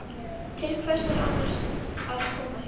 Til hvers er ég annars að koma hingað?